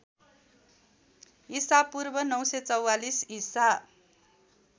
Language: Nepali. ईपू ९४४ ईसा